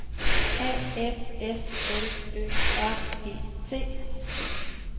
A F S L Ø R E T